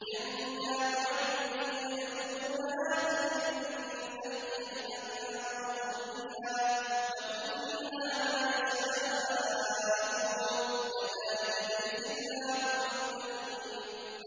جَنَّاتُ عَدْنٍ يَدْخُلُونَهَا تَجْرِي مِن تَحْتِهَا الْأَنْهَارُ ۖ لَهُمْ فِيهَا مَا يَشَاءُونَ ۚ كَذَٰلِكَ يَجْزِي اللَّهُ الْمُتَّقِينَ